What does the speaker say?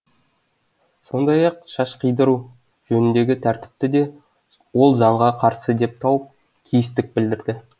сондай ақ шаш қидыру жөніндегі тәртіпті де ол заңға қарсы деп тауып кейістік білдірді